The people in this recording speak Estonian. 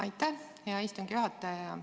Aitäh, hea istungi juhataja!